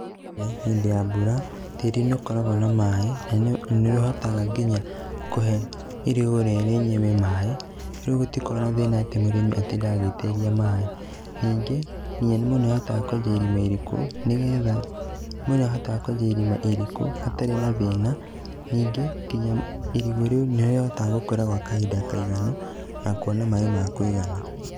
Hĩndĩ ya mbura, tĩri nĩ ũkoragwo na maĩ, na nĩ ũhotaga nginya kũhe irigũ rĩenyewe maĩ, rĩu gũtikoragwo na thĩna atĩ mũrĩmi gũtinda agĩitĩrĩria maĩ, ningĩ nginya mũndũ nĩ ahotaga kwenja irima iriku nĩgetha, mũndũ nĩ ahotaga kwenja irima iriku hatarĩ na thĩna, ningĩ nginya irigũ rĩu nĩrĩhotaga gũkũra gwa kahinda kaiganu, na kuona maĩ ma kũigana.